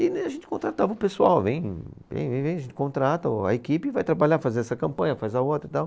E né, a gente contratava um pessoal, vem, vem, vem, vem, a gente contrata o a equipe e vai trabalhar, fazer essa campanha, faz a outra e tal.